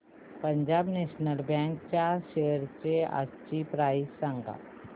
Punjab national bank च्या shares आजची price सांगा